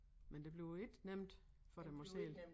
Men det bliver ikke nemt for dem at sælge